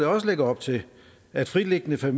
også lægger op til at fritliggende